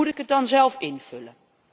Moet ik het dan zelf invullen?